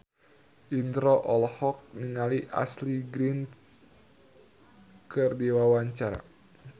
Indro olohok ningali Ashley Greene keur diwawancara